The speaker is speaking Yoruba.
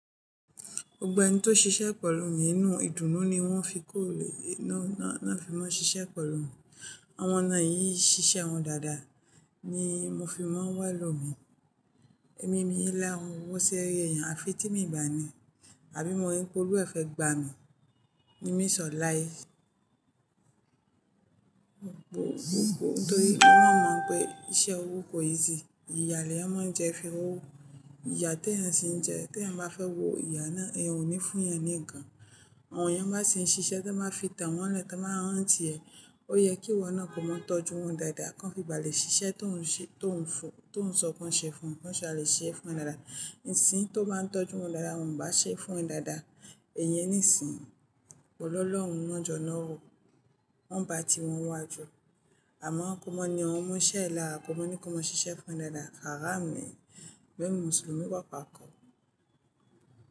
Gbogbo ẹni tó ṣiṣẹ́ pẹ̀lú mi nínú ìdùnnú ni wọ́n fi-- náà fi máa ń ṣiṣẹ́ pẹ̀lú mi. Àwọn náà yí ṣiṣẹ́ wọn dáadáa ni mo fi máa ń wá elọ́ mi. Ẹ̀mí mii n lahuń owọ́ ṣi èèyàn, àfi tí mi ba ni, àbí mo rí p'olú ẹ̀ fẹ̀ gba mi. Ni mi sọ̀ láé. Nítorí emi náa mọ̀ pé iṣẹ́ owó kò easy, ìyà leeyan máa ń jẹ fi r'owó. Ìyà tí èèyàn ṣi ń jẹ, tí èèyàn bá fẹ́ wo ìyà náà, èèyàn ò ní fún eyan ní nkan. Àwọn èèyàn má ṣi ń ṣiṣẹ́ táa máa fi tà wọ́n lẹ́ tan bá hàn ti ẹ̀. Ó yẹ kí ìwọ náà kó máa tọ́jú wọn dáadáa, kan fi bá le ṣiṣẹ́ tó ń ṣe, tó ń sọ kan ṣe fún, kó ṣa lè ṣe é fún e dáadáa. Ìsìn tó bá n tọ́jú wọn dáadáa, wọn bá ṣe é fún ẹ dáadáa, èèyàn ní ìsìn. Òlọ́lọ̀ọ́run n won jọ́ n'òro. Wọn bá ti wọn n'waju Àmọ́ kó mọ́ ni awọ́n omo on'ṣẹ́ e làra, kó mọ́ ni kó mọ́ ṣiṣẹ́ fún e dáadáa. Haram ni. Bẹ́ẹ̀ ni Mùsùlùmí wà pàákọ̀.